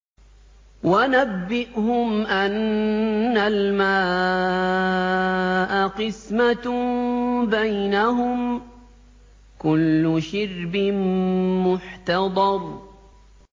وَنَبِّئْهُمْ أَنَّ الْمَاءَ قِسْمَةٌ بَيْنَهُمْ ۖ كُلُّ شِرْبٍ مُّحْتَضَرٌ